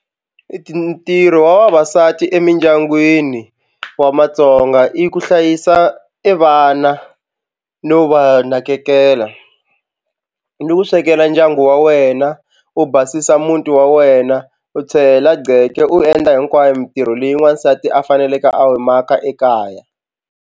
Ntirho wa vavasati emindyangwini wa matsonga i ku hlayisa e vana no va nakekela ni ku swekela ndyangu wa wena u basisa muti wa wena u gceke u endla hinkwayo mitirho leyi n'wansati a faneleke a yi maka ekaya.